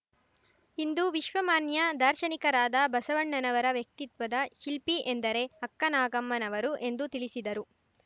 ಇಂದು ವಿಶ್ವಮಾನ್ಯ ದಾರ್ಶನಿಕರಾದ ಬಸವಣ್ಣನವರ ವ್ಯಕ್ತಿತ್ವದ ಶಿಲ್ಪಿ ಎಂದರೆ ಅಕ್ಕನಾಗಮ್ಮನವರು ಎಂದು ತಿಳಿಸಿದರು